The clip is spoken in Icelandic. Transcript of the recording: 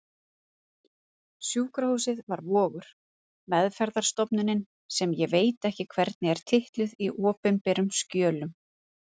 Sjúkrahúsið var Vogur, meðferðarstofnunin sem ég veit ekki hvernig er titluð í opinberum skjölum.